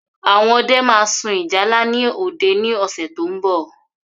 Àwọn ọdẹ ma sun ìjálá ni òde ni ọ̀sẹ̀ tó ń bọ̀